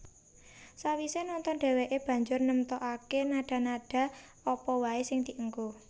Sawisé nonton dhèwèké banjur nemtokaké nada nada apa waé sing dienggo